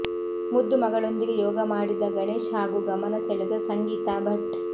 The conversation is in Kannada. ಮುದ್ದು ಮಗಳೊಂದಿಗೆ ಯೋಗ ಮಾಡಿದ ಗಣೇಶ್ ಹಾಗೂ ಗಮನ ಸೆಳೆದ ಸಂಗೀತಾ ಭಟ್